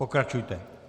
Pokračujte.